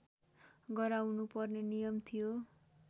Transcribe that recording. गराउनुपर्ने नियम थियो